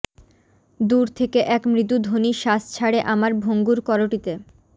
দূর থেকে এক মৃদু ধ্বনি শ্বাস ছাড়ে আমার ভঙ্গুর করোটিতে